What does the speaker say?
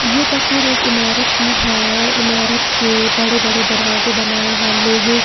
यह तस्वीर एक इमारत की है इमारत के बड़े बड़े दरवाजे बनाए हैं लोहे--